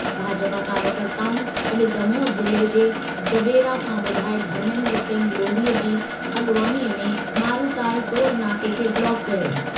भाजपा कार्यकर्ताउनि अॼु दमोह ज़िले जे जबेरा खां विधायकु धर्मेन्द्र सिंह लोधीअ जी अॻवानीअ में मारूताल टोल नाके खे ब्लॉक कयो।